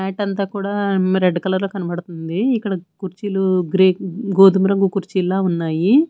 నైటంతా కూడా మ్ red colour లో కనపడుతుంది ఇక్కడ కుర్చీలు గ్రే గోధుమ రంగు కుర్చీల్లా ఉన్నాయి.